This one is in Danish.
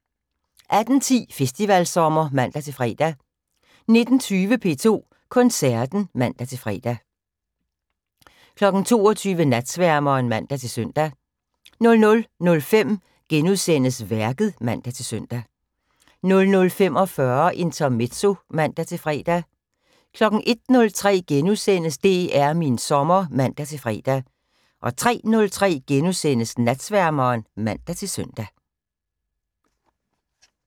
18:10: Festivalsommer (man-fre) 19:20: P2 Koncerten (man-fre) 22:00: Natsværmeren (man-søn) 00:05: Værket *(man-søn) 00:45: Intermezzo (man-fre) 01:03: DR min sommer *(man-fre) 03:03: Natsværmeren *(man-søn)